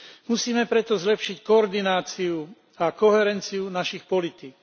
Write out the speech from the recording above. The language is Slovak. Musíme preto zlepšiť koordináciu a koherenciu našich politík.